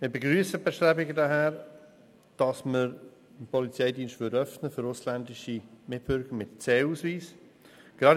Wir begrüssen die Bestrebungen, welche den Polizeidienst für ausländische Mitbürger mit C-Ausweis öffnen würden.